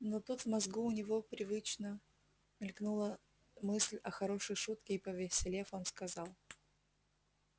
но тут в мозгу у него привычно мелькнула мысль о хорошей шутке и повеселев он сказал